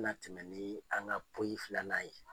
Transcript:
Mina tɛmɛ nii an ka poyi filannan ye.